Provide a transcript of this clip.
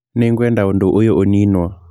Nĩ ngwenda ũndũ ũyũ ũniinwo